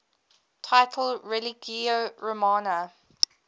title religio romana